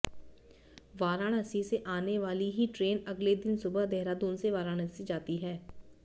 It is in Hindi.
वाराणसी से आनेवाली ही ट्रेन अगले दिन सुबह देहरादून से वाराणसी जाती है